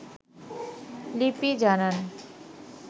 লিপি জানান